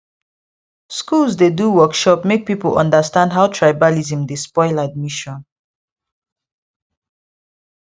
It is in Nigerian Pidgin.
schools dey do workshop make people understand how tribalism dey spoil admission